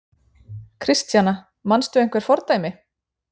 Kristjana: Manstu einhver fordæmi?